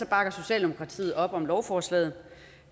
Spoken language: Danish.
bakker socialdemokratiet op om lovforslaget